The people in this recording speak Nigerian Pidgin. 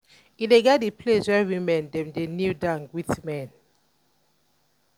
e get di place where women dem dey kneel down greet men.